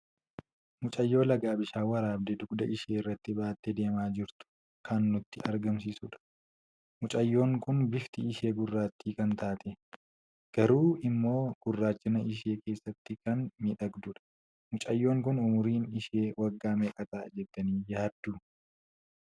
Mucaayyoo laga bishaan waraabde dugda ishee irratti baatte deema jirtu kan nutti agarsiisuudha. mucaayyoon kun bifti ishee gurratti kan taatee, garuu immoi gurraachina ishee keessatti kan miidhagdudha. Mucaayyoon kun umuriin ishee waggaa meeqa ta'a jettani yaaddu?